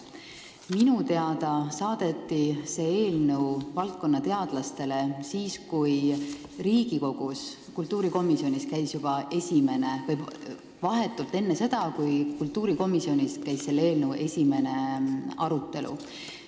Minu teada saadeti see eelnõu teadlastele vahetult enne seda, kui Riigikogu kultuurikomisjonis käis juba selle esimese lugemise arutelu.